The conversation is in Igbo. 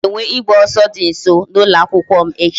A ga-enwe ịgba ọsọ dị nso n'ụlọ akwụkwọ m echi